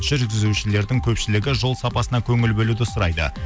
жүргізушілердің көпшілігі жол сапасына көңіл бөлуді сұрайды